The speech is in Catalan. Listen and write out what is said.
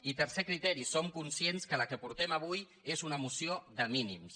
i tercer criteri som conscients que la que portem avui és una moció de mínims